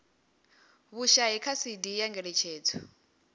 vhushai kha cd ya ngeletshedzo